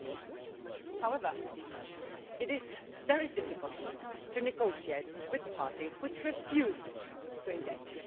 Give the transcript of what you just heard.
6. However, it is very difficult to negotiate with parties which refuse to engage.